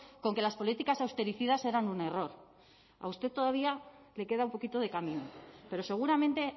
con que las políticas austericidas eran un error a usted todavía le queda un poquito de camino pero seguramente